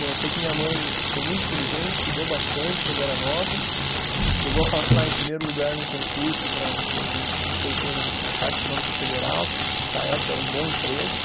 Bom, eu sei que minha mãe foi muito inteligente, estudou bastante quando era nova, chegou a passar em primeiro lugar num concurso para ser, não sei quê no, na Caixa Econômica Federal, que para a época era um bom emprego.